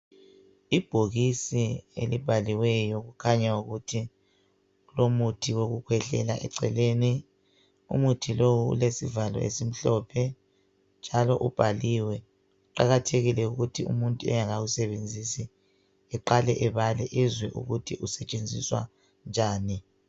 Ibhokisi elibhaliweyo okukhanya ukuthi kulomuthi wokukhwehlela eceleni, umuthi lo ulesivalo esimhlophe njalo ubhaliwe. Kuqakathekile ukuthi umuntu engakawusebenzisi eqale ebale ezwe ukuthi usetshenziswa njani.